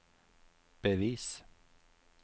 bevis